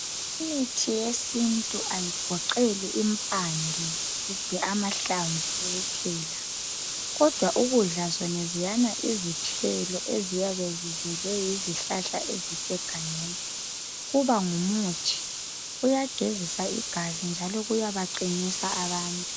Imithi yesintu ayigoqeli impande kumbe amahlamvu kuphela kodwa ukudla zonezana izithelo eziyabe zizelwe yizihlahla ezisegangeni kuba ngumuthi kuyagezisa igazi njalo kuyabaqinisa abantu.